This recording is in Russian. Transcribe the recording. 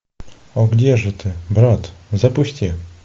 о где же ты брат запусти